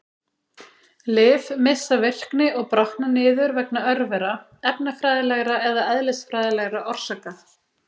Lyf missa virkni og brotna niður vegna örvera, efnafræðilegra eða eðlisfræðilegra orsaka.